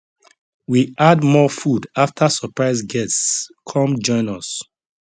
we add more food after surprise guests come join us